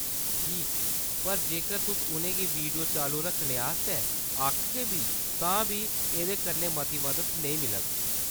ठीक, पर जेकर तुस उʼनें गी वीडियो चालू रक्खने आस्तै आखगे बी, तां बी एह्‌‌‌दे कन्नै मती मदद नेईं मिलग।